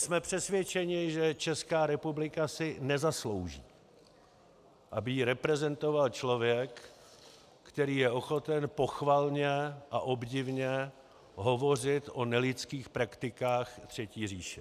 Jsme přesvědčeni, že Česká republika si nezaslouží, aby ji reprezentoval člověk, který je ochoten pochvalně a obdivně hovořit o nelidských praktikách třetí říše.